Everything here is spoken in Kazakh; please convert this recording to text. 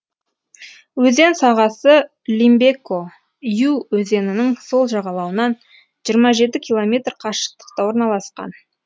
өзен сағасы лимбеко ю өзенінің сол жағалауынан жиырма жеті километр қашықтықта орналасқан